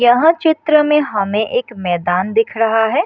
यहाँ चित्र में हमें एक मैदान दिख रहा है।